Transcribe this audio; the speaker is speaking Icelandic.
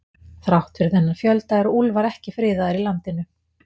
Þrátt fyrir þennan fjölda eru úlfar ekki friðaðir í landinu.